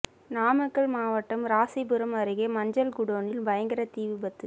நாமக்கல் மாவட்டம் ராசிபுரம் அருகே மஞ்சள் குடோனில் பயங்கர தீ விபத்து